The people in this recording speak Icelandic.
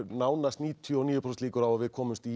nánast níutíu og níu prósent líkur á að við komumst í